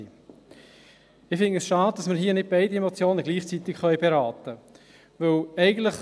Ich finde es schade, dass wir hier nicht beide Motionen gleichzeitig beraten können.